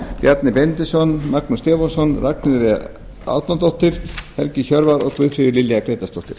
bjarni benediktsson magnús stefánsson ragnheiður e árnadóttir helgi hjörvar og guðfríður lilja grétarsdóttir